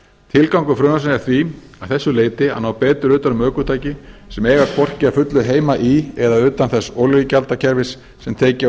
tilgangur frumvarpsins er því að þessu leyti að ná betur utan um ökutæki sem eiga hvorki að fullu heima í eða utan þess olíugjaldskerfis sem tekið var